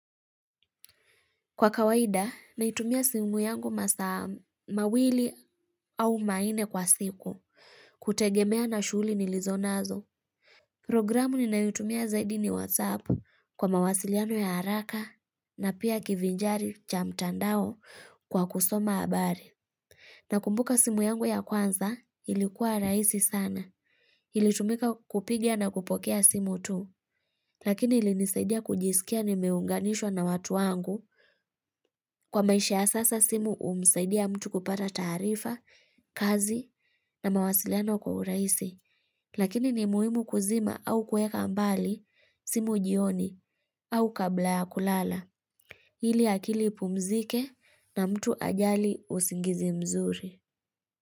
Kwa kawaida, naitumia simu yangu masaa mawili au manne kwa siku, kutegemea na shuli nilizonazo. Programu ninayotumia zaidi ni WhatsApp kwa mawasiliano ya haraka na pia kivinjari cha mtandao kwa kusoma habari. Na kumbuka simu yangu ya kwanza, ilikuwa raisi sana. Ili tumika kupiga na kupokea simu tu. Lakini ili nisaidia kujisikia nimeunganishwa na watu wangu. Kwa maisha ya sasa simu umsaidia mtu kupata taarifa, kazi na mawasiliano kwa uraisi. Lakini ni muhimu kuzima au kueka mbali simu jioni au kabla ya kulala. Ili akili ipumzike na mtu ajali usingizi mzuri.